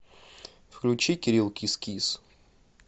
включи кирилл кис кис